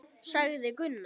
sagði Gunnar.